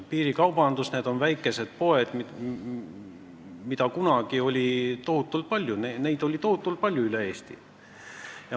Piirikaubandus tähendab väikeseid poode, mida oli kunagi tohutult palju üle Eesti.